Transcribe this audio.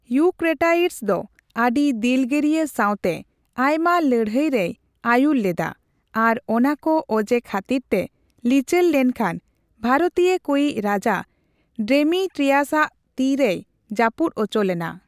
ᱤᱭᱩᱠᱨᱮᱴᱟᱭᱤᱰᱥ ᱫᱚ ᱟᱹᱰᱤ ᱫᱤᱞᱜᱟᱹᱨᱤᱭᱟᱹ ᱥᱟᱣᱛᱮ ᱟᱭᱢᱟ ᱞᱟᱹᱲᱦᱟᱹᱭ ᱨᱮᱭ ᱟᱹᱭᱩᱨᱮ ᱞᱮᱫᱟ, ᱟᱨ ᱚᱱᱟᱠᱚ ᱚᱡᱮ ᱠᱷᱟᱹᱛᱤᱨᱛᱮ ᱞᱤᱪᱟᱹᱲ ᱞᱮᱱ ᱠᱷᱟᱱ, ᱵᱷᱟᱨᱚᱛᱤᱭᱟᱹ ᱠᱚᱭᱤᱡᱽ ᱨᱟᱡᱟ ᱰᱮᱢᱤᱴᱨᱤᱭᱟᱥᱟᱜ ᱛᱤ ᱨᱮᱭ ᱡᱟᱹᱯᱩᱫ ᱩᱪᱩᱞᱮᱱᱟ ᱾